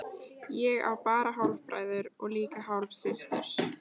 Ég á bara hálfbræður og líka hálfsystur.